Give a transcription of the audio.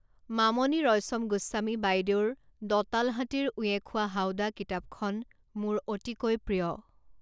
মামণি ৰয়ছম গোস্বামী বাইদেউৰ, দঁতাল হাতীৰ উঁয়ে খোৱা হাওদা কিতাপখন মোৰ অতিকৈ প্ৰিয়।